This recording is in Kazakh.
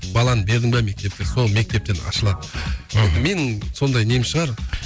баланы бердің бе мектепке сол мектептен ашылады мхм мен сондай нем шығар